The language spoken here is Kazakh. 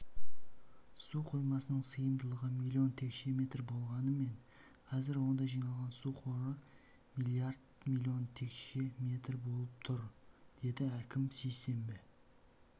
су қоймасының сыйымдылығы млн текше метр болғанымен қазір онда жиналған су қоры млрд млн текше метр болып тұр деді әкім сейсенбі